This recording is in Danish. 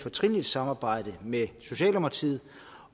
fortrinligt samarbejde med socialdemokratiet